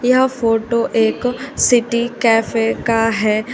यह फोटो एक city cafe का है।